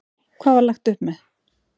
Hvað var lagt upp með?